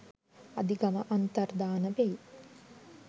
අධිගම අන්තර්ධාන වෙයි.